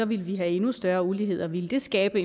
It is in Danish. ville vi have endnu større ulighed og ville det skabe